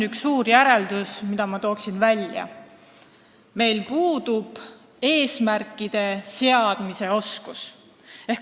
Üks suur järeldus, mille ma välja tooksin, on see, et meil puudub eesmärkide seadmise oskus.